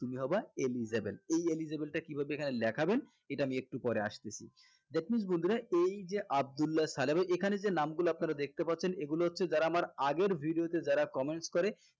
তুমি হবা eligible এই eligible টা কিভাবে এখানে লেখাবেন এটা আমি একটু পরে আসতেছি that means বন্ধুরা এই যে আব্দুল্লা ছালে এবং এখানে যে নামগুলা আপনারা দেখতে পারছেন এগুলা হচ্ছে যারা আমার আগের vdeio তে যারা comments করে